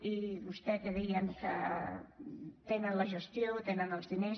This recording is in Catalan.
i vostè que deia que tenen la gestió tenen els diners